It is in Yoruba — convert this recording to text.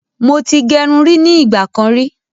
Mo ti gẹrun rí ní ìgbà kan rí